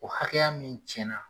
O hakɛya min cɛn na.